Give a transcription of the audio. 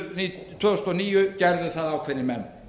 vorið tvö þúsund og níu gerðu það ákveðnir menn